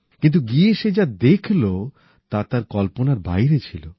কিন্তু গিয়ে সে যা দেখল তা তার কল্পনার বাইরে ছিল